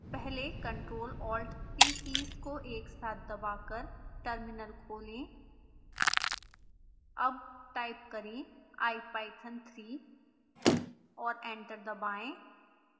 पहले ctrl+alt+t keys को एक साथ दबाकर टर्मिनल खोलें अब टाइप करें ipython3 और एंटर दबाएं